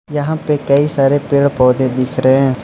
यहां पे कई सारे पेड़ पौधे दिख रहे हैं।